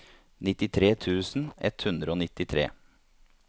nittitre tusen ett hundre og nittitre